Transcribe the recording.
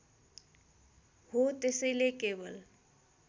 हो त्यसैले केवल